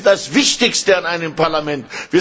Sie sind das Wichtigste an einem Parlament!